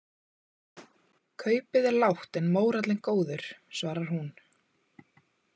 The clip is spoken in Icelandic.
Kaupið er lágt en mórallinn góður, svarar hún.